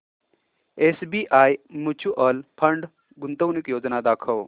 SBI mutual fund गुंतवणूक योजना दाखव